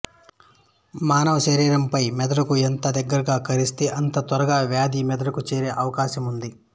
మన శరీరము పై మెదడుకు ఎంత దగ్గరగా కరిస్తే అంత తొందరగా వ్యాధి మెదడుకు చేరే అవకాశముంది